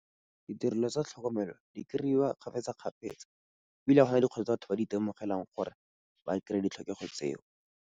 Ditirelo tsa tlhokomelo di kry-iwa kgapetsa-kgapetsa, ebile ga gona di kgotsa batho ba di itemogelang gore ba kry-e ditlhokego tseo.